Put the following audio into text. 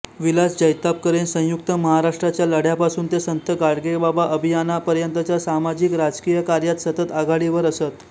विलास जैतापकर हे संयुक्त महाराष्ट्राच्या लढ्यापासून ते संत गाडगेबाबा अभियानापर्यंतच्या सामाजिकराजकीय कार्यांत सतत आघाडीवर असत